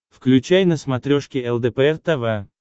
включай на смотрешке лдпр тв